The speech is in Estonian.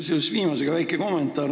Seoses viimase teemaga väike kommentaar.